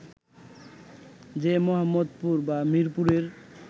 যে মোহাম্মদপুর বা মিরপুরের